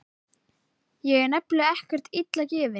Ég er nefnilega ekkert illa gefinn.